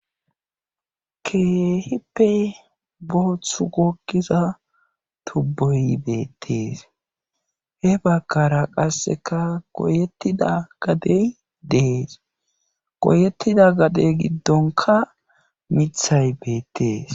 keehippe boothu gogiza tubboy beettees he bakkara qasseka goyettida gadey dees goyettida gadey giddonka mithay beettees